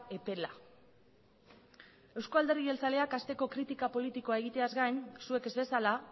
epela euzko alderdi jeltzaleak hasteko kritika politikoa egiteaz gain zuek ez bezala